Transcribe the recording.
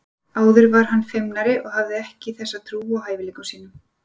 Áður var hann feimnari og hafði ekki þessa trú á hæfileikum sínum.